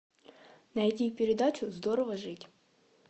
найди передачу здорово жить